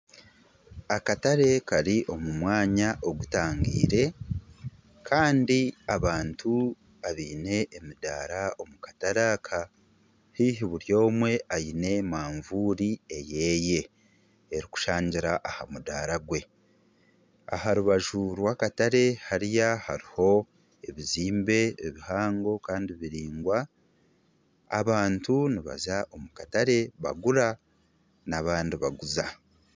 Kasindagirizi erikutemba aha kimotooka aha rubaju hariho omushaija ajwaire ebya bururu arikurazya, omuri kasindagirizi harimu ojwire ebirikwera enyuma hariyo emiti n'enjura.